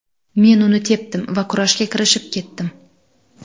Men uni tepdim va kurashga kirishib ketdim.